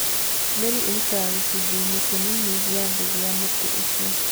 Mĩri ĩrutaga gĩcunjĩ-inĩ kĩnini gĩa thĩ gĩa mũtĩ ũcio.